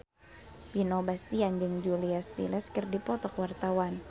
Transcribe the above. Vino Bastian jeung Julia Stiles keur dipoto ku wartawan